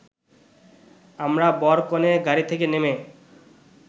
আমরা বর-কনে গাড়ি থেকে নেমে